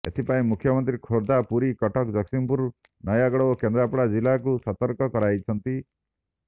ଏଥିପାଇଁ ମୁଖ୍ୟମନ୍ତ୍ରୀ ଖୋର୍ଦ୍ଧା ପୁରୀ କଟକ ଜଗତସିଂହପୁର ନୟାଗଡ଼ ଓ କେନ୍ଦ୍ରାପଡ଼ା ଜିଲ୍ଲାକୁ ସତର୍କ କରାଇଛନ୍ତି